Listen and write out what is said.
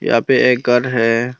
यहां पे एक घर है।